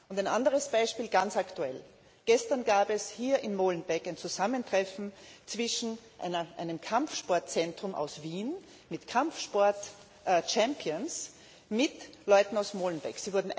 Und ein anderes Beispiel, ganz aktuell Gestern gab es hier in Molenbeek ein Zusammentreffen zwischen einem Kampfsportzentrum aus Wien mit Kampfsport Champions und Leuten aus Molenbeek.